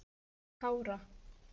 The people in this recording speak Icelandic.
Kára